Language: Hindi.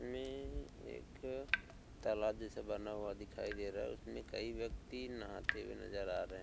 में एक तालाब जैसा बना हुआ दिख दे रहा है इसमें कई व्यक्ति नहाते हुऐ नजर आ रहे हैं।